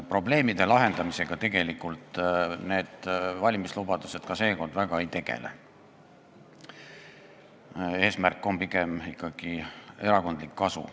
Probleemide lahendamisega need valimislubadused ka seekord väga ei tegele, eesmärk on pigem ikkagi erakondlik kasu.